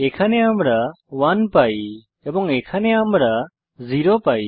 এখানে আমরা 1 পাই এবং এখানে আমরা 0 পাই